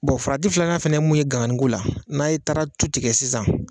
Bɔn farati filanan fana ye mun ye ganganin ko la n'a ye taara tu tigɛ sisan